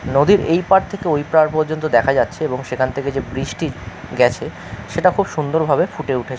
নদীর এই পার থেকে ওই পার পর্যন্ত দেখা যাচ্ছে। এবং সেখান থেকে যে বৃষ্টি গেছে সেটা খুব সুন্দর ভাবে ফুটে উঠেছে।